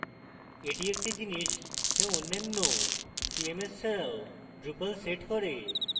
এটি একটি জিনিস যা অন্যান্য cms ছাড়াও drupal sets করে